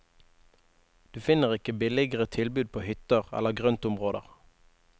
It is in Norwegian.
Du finner ikke billigere tilbud på hytter eller grøntområder.